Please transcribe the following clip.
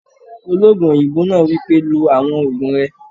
Olóògùn òyìnbó náà wípé, "lo àwọn ògùn rẹ!"